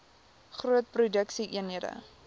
groot produksie eenhede